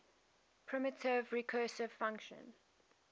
primitive recursive function